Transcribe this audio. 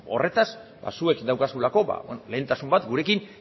horretaz ba zuek daukazuelako lehentasun bat gurekin